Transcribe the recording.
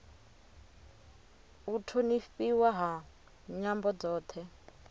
u thonifhiwa ha nyambo dzothe